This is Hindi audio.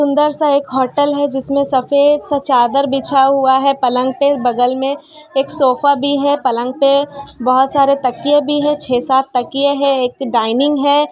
सुंदर सा एक होटल है जिसमें सफेद सा चादर बिछा हुआ है पलंग पे बगल में एक सोफा भी है पलंग पे बहोत सारे तकिए भी हैं छह-सात तकिए हैं एक डाइनिंग है।